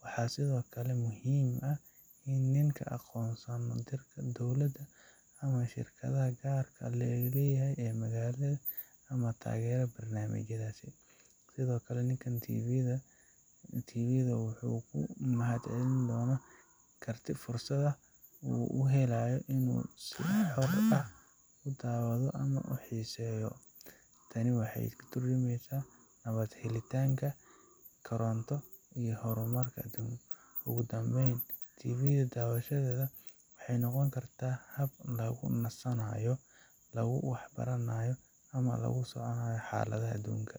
waxaa sido kale muhiim ah in ninka aqoon dowlada ama shirkadaha gaar laga leyahay ee magaalada ama tageera barnamijayaasi, sido kale ninkan tv wuxuu umahad celin doono karti fursad ah oo uhelaayo inuu si xor ah udaawado ama uxiiseyo, tani waxeey ka turjumeysa helitanka koronto, ugu danbeyn tvga daawashadeeda waxeey noqon kartaa, hab lagu nasanaayo, lagu wax baranaayo ama lagula soconaayo xaladaha aduunka.